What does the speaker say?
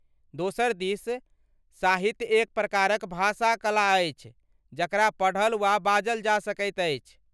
दोसर दिस, साहित्य एक प्रकारक भाषा कला अछि जकरा पढ़ल वा बाजल जा सकैत अछि।